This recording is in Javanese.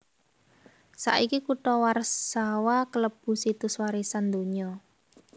Saiki kutha Warsawa kalebu Situs Warisan Donya